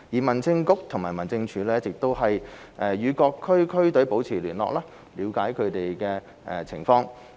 民政局和民政處一直與各支區隊保持聯絡，以了解它們的情況。